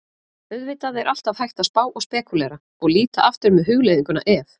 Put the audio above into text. Auðvitað er alltaf hægt að spá og spekúlera, og líta aftur með hugleiðinguna ef?